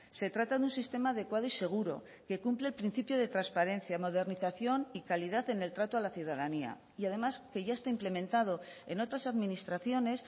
se trata de un sistema adecuado y seguro que cumple el principio de transparencia modernización y calidad en el trato a la ciudadanía y además que ya está implementado en otras administraciones